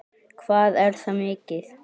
Hvað er það mikið?